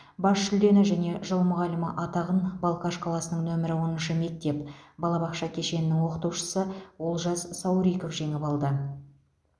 бас жүлдені және жыл мұғалімі атағын балқаш қаласының нөмірі оныншы мектеп балабақша кешенінің оқытушысы олжас сауриков жеңіп алды